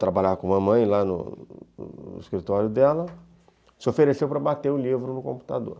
trabalhar com a mamãe lá no no escritório dela, se ofereceu para bater o livro no computador.